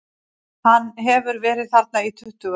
Hann hefur verið þarna í tuttugu ár.